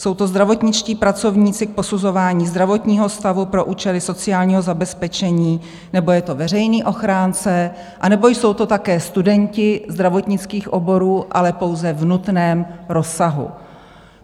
Jsou to zdravotničtí pracovníci k posuzování zdravotního stavu pro účely sociálního zabezpečení, nebo je to veřejný ochránce, nebo jsou to také studenti zdravotnických oborů, ale pouze v nutném rozsahu.